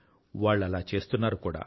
వాళ్ళు అలా చేస్తున్నారు కూడా